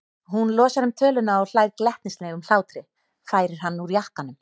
Hún losar um töluna og hlær glettnislegum hlátri, færir hann úr jakkanum.